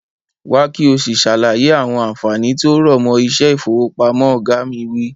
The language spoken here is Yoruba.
Wá ki o si sàlàyé àwọn ànfàní tí ó rọ̀mọ́ iṣẹ́ ifowopamọ. Oga mi wi.